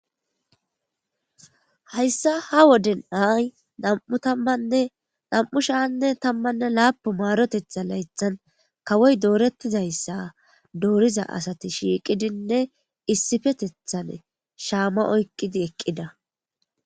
Hayssa ha woden ay nam7u tammanne nam7u shaanne tammanne laapu maarotetha laythan kawoy doorettizayssa dooriza asati shiiqidinne issippetethane shaama oyqqidi eqqida.